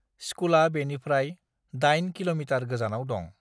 स्कुला बेनिफ्राय धाइन किलमिटार गोजानाव दं